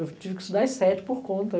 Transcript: Eu tive que estudar as sete por conta.